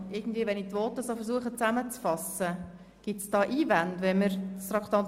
Gibt es Einwände, wenn wir das Traktandum 6 so behandeln, wie es die Regierung vorschlägt?